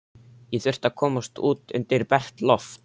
Ég þurfti að komast út undir bert loft.